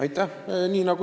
Aitäh!